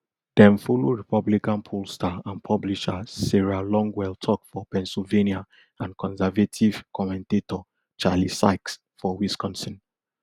dem follow republican pollster and publisher sarah longwell tok for pennsylvania and conservative commentator charlie sykes for wisconsin